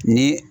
Ni